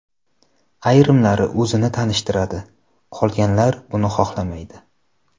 Ayrimlari o‘zini tanishtiradi, qolganlar buni xohlamaydi.